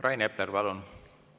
Rain Epler, palun!